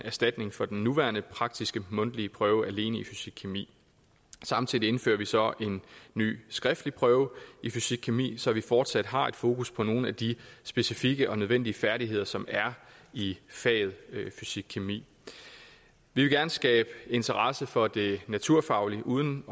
erstatning for den nuværende praktiske mundtlige prøve alene i fysikkemi samtidig indfører vi så en ny skriftlig prøve i fysikkemi så vi fortsat har et fokus på nogle af de specifikke og nødvendige færdigheder som er i faget fysikkemi vi vil gerne skabe interesse for det naturfaglige uden